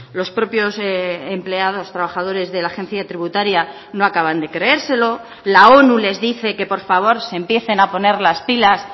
los propios empleados trabajadores de la agencia tributaria no acaban de creérselo la onu les dice que por favor se empiecen a poner las pilas